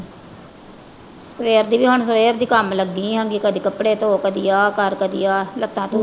ਸਵੇਰ ਦੀ ਹੁਣ ਸਵੇਰ ਦੀ ਕੰਮ ਲੱਗੀ ਆਂ ਗੀ। ਕਦੀ ਕੱਪੜੇ ਧੋ, ਕਦੀ ਆ ਕਰ ਕਦੀ ਆ। ਲੱਤਾਂ,